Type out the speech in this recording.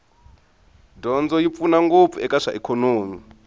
dyondzo yi pfuna ngopfu eka swa ikhonomi